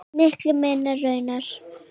Miklu meira raunar.